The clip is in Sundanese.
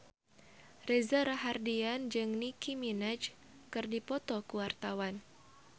Reza Rahardian jeung Nicky Minaj keur dipoto ku wartawan